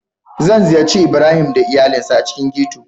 Zan ziyarci Ibrahim da iyalinsa a cikin ghetto.